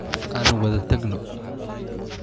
Aan wada tagno